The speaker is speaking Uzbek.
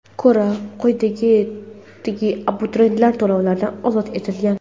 ko‘ra, quyidagi abituriyentlar to‘lovlardan ozod etilgan:.